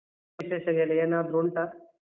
ವಿಶೇಷ ಹೇಳಿ ಏನಾದ್ರು ಉಂಟಾ?